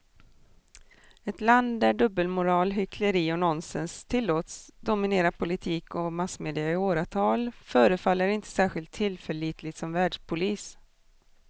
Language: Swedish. Ett land där dubbelmoral, hyckleri och nonsens tillåts dominera politik och massmedia i åratal förefaller inte särskilt tillförlitligt som världspolis.